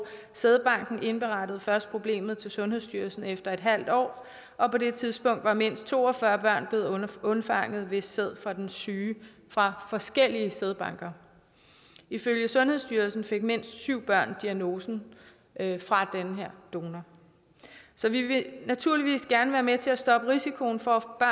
sædbanken indberettede først problemet til sundhedsstyrelsen efter et halvt år og på det tidspunkt var mindst to og fyrre børn blevet undfanget ved sæd fra den syge fra forskellige sædbanker ifølge sundhedsstyrelsen fik mindst syv børn diagnosen fra den her donor så vi vil naturligvis gerne være med til at stoppe risikoen for at